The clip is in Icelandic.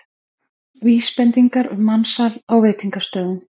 Vísbendingar um mansal á veitingastöðum